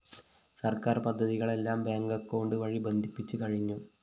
സർക്കാർ പദ്ധതികളെല്ലാം bank account വഴി ബന്ധിപ്പിച്ച് കഴിഞ്ഞു